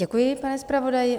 Děkuji, pane zpravodaji.